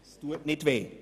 Es tut nicht weh.